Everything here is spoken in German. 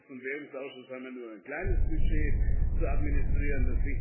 Wir im Wirtschafts und Währungsausschuss haben nur ein kleines Budget zu administrieren.